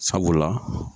Sabula